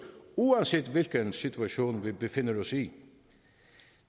uanset hvilken situation vi befinder os i